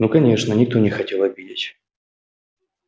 ну конечно никто не хотел обидеть